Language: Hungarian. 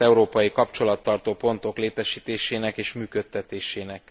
európai kapcsolattartó pontok létesítésének és működtetésének.